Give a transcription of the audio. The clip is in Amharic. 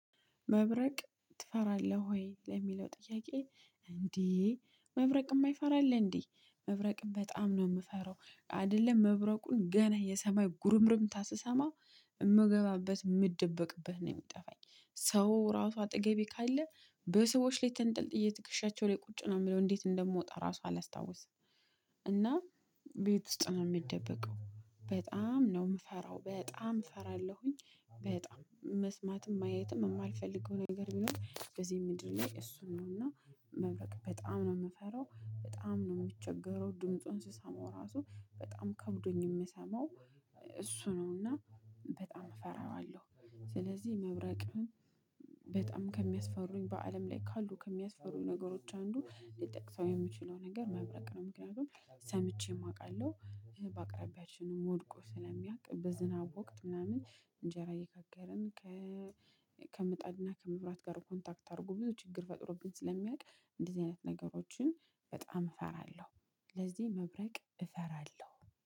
መብረቅ ትፈራለህ ወይ? ለሚለው ጥያቄ እንዲ መብረቅ እማይፈራ አለ እንዴ መብረቅም በጣም ነው የምፈራው አይደለም መብረቁን ገና የሰማይ ጉርምርምታ ስሰማው የምገባበት እምደበቅበት ነው የሚጠፋኝ ሰው ራሱ አጠገቤ ካለ በሰዎች ላይ ተንጠልጥዬ ትክሻቸው ላይ ቁጭ ነው የምለው እንዴት እንደምወጣ ራሱ አላስታውስም። እና ቤት ውስጥ ነው የምደበቀው በጣም ነው የምፈራው በጣም እፈራለሁኝ። በጣም መስማትም ማየትም የማልፈልገው ነገር ቢኖር በዚህ ምድር ላይ እሱን ነው። እና መብረቅ በጣም ነው የምፈራው በጣም ነው የምቸገረው ድምፁን ስሰማው ራሱ በጣም ከብዶኝ የምሰማው እሱ ነውና በጣም እፈራዋለሁ። ስለዚህ መብረቅን በጣም ከሚያስፈሩኝ በአለም ላይ ካሉ ከሚያስፈሩኝ ነገሮች አንዱ ልጠቅሰው የምችለው ነገር መብረቅ ነው። ምክንያቱም ሰምቼ የማውቃለው በአቅራቢያችንም ወድቆ ስለሚያውቅ በዝናብ ወቅት ምናምን እንጀራ እየጋገርን ከምጣድና ከመብራት ጋር ኮንታክት አድርጎ ብዙ ችግር ፈጥሮብን ስለሚያውቅ እንደዚህ አይነት ነገሮችን በጣም እፈራለሁ። ስለዚህ መብረቅ እፈራለሁ